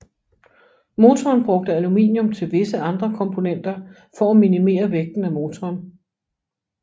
Motoren brugte aluminium til visse andre komponenter for at minimere vægten af motoren